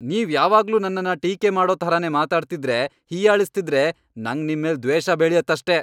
ನೀವ್ ಯಾವಾಗ್ಲೂ ನನ್ನನ್ನ ಟೀಕೆ ಮಾಡೋ ಥರನೇ ಮಾತಾಡ್ತಿದ್ರೆ, ಹೀಯಾಳಿಸ್ತಿದ್ರೆ ನಂಗ್ ನಿಮ್ಮೇಲ್ ದ್ವೇಷ ಬೆಳ್ಯತ್ತಷ್ಟೇ.